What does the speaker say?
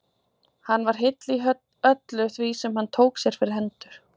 Hann var heill í öllu því sem hann tók sér fyrir hendur.